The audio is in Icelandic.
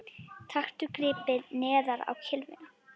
Taktu gripið neðar á kylfuna